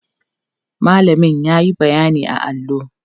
mallamin yayi bayyani a allo